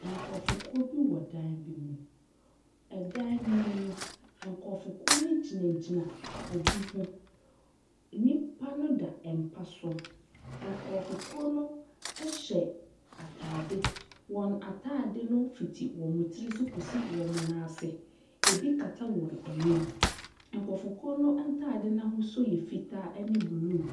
Nkurɔfokuo bi wɔ dan bi mu. Dan nomu no, nkurɔfokuo no gyinagyina obi ho. Nnipa no da mpa so Nkurɔfokuo no hyɛ atadeɛ. Wɔn atadeɛ no fiti wɔn tiri so kɔsi wɔn nan ase. Ɛbi kata wɔn anim. Nkurɔfokuo no ntadeɛ no ahosuo yɛ fitaa ne blue.